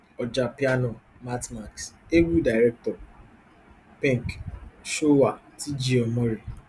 ojapiano mattmax egwu director pink showa tg omori